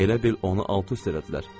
Elə bil onu alt-üst elədilər.